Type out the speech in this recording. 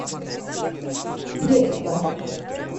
средство